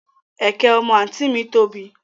Ẹ̀kẹ́ ọmọ àǹtí ì mi tóbi